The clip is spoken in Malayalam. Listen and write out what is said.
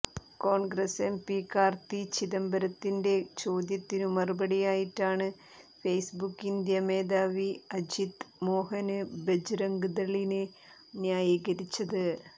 കോണ്ഗ്രസ് എംപി കാര്ത്തി ചിദംബരത്തിന്റെ ചോദ്യത്തിനു മറുപടിയായിട്ടാണ് ഫേസ്ബുക്ക് ഇന്ത്യ മേധാവി അജിത് മോഹന് ബജ്റംഗ്ദളിനെ ന്യായീകരിച്ചത്